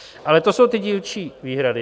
Ale to jsou ty dílčí výhrady.